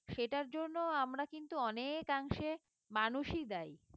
সেটার জন্য আমরা কিন্তু অনেকাংশে মানুষই দায়ী